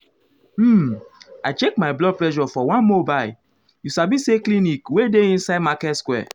um i check my blood pressure for one mobile you sabi say clinic wey dey inside market square.